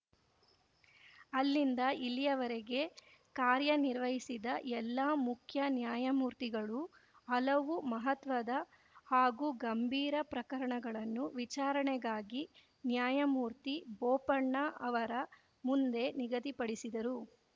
ಅಲ್ಲಿಂದ ಇಲ್ಲಿಯವರೆಗೆ ಕಾರ್ಯನಿರ್ವಹಿಸಿದ ಎಲ್ಲಾ ಮುಖ್ಯ ನ್ಯಾಯಮೂರ್ತಿಗಳು ಹಲವು ಮಹತ್ವದ ಹಾಗೂ ಗಂಭೀರ ಪ್ರಕರಣಗಳನ್ನು ವಿಚಾರಣೆಗಾಗಿ ನ್ಯಾಯಮೂರ್ತಿಬೋಪಣ್ಣ ಅವರ ಮುಂದೆ ನಿಗದಿಪಡಿಸಿದರು